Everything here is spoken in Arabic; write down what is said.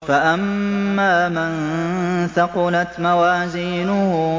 فَأَمَّا مَن ثَقُلَتْ مَوَازِينُهُ